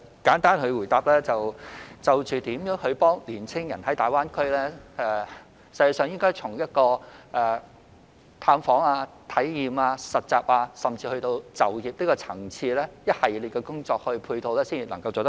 簡單地回答，就如何協助青年人在大灣區發展，實際上應從探訪、體驗、實習，甚至是就業的層次，提供一系列的工作配套才能做好。